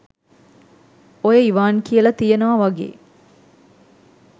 ඔය ඉවාන් කියල තියෙනව වගේ